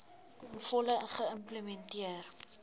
ten volle geïmplementeer